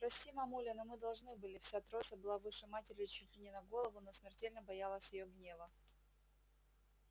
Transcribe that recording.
прости мамуля но мы должны были вся троица была выше матери чуть не на голову но смертельно боялась её гнева